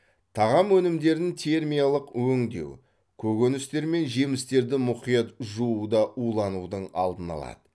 тағам өнімдерін термиялық өңдеу көкөністер мен жемістерді мұқият жуу да уланудың алдын алады